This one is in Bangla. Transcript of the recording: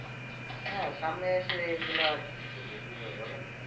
হ্যা সামনে এসে এগুলো আর কি করবে বলেন।